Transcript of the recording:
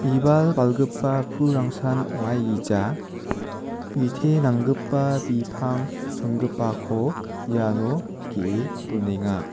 bibal balgipa pulrangsan ong·aigija bite nanggipa bipang chongipako iano ge·e donenga.